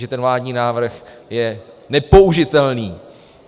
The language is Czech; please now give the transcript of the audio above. - že ten vládní návrh je nepoužitelný.